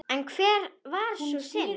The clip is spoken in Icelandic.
En hver var sú synd?